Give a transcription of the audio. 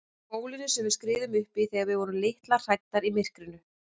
Bólinu sem við skriðum uppí þegar við vorum litlar og hræddar í myrkrinu.